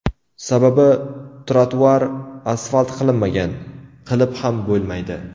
Sababi ‘trotuar’ asfalt qilinmagan, qilib ham bo‘lmaydi.